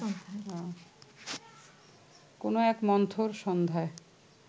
কোনো এক মন্থর সন্ধ্যায়